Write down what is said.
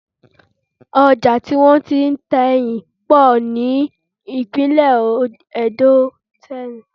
Ojà tí wọ́n ti ń ta ẹyìn pọ̀ ní ìpínlẹ̀ ẹdó tẹ́lẹ̀